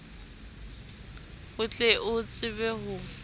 o tle o tsebe ho